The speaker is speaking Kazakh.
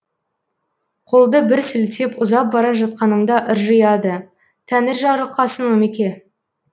қолды бір сілтеп ұзап бара жатқанымда ыржияды тәңір жарылқасын омеке